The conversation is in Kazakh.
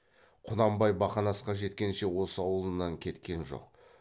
құнанбай бақанасқа жеткенше осы аулынан кеткен жоқ